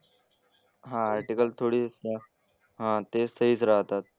हां आर्टिकल थोडी असतात. हां ते सहीच राहतात.